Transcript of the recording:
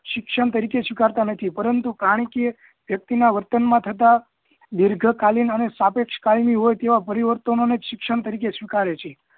શિક્ષણ તરીકે સ્વીકારતા નથી પરંતુ કરનીકીય વ્યક્તિના વર્તન માં થતા દીર્ઘકાલીન અને સાપેક્ષ કાળના હોય તેવા પરિવર્તનોને જ શિક્ષણ તરીકે સ્વીકારેછે